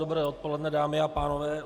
Dobré odpoledne, dámy a pánové.